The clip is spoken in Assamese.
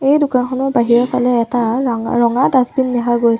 এই দোকানখনৰ বাহিৰৰ ফালে এটা ৰঙা ৰঙা ডাছবিন দেখা গৈছে।